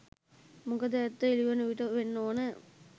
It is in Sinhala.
මොකද ඇත්ත එළිවන විට වෙන්න ඕන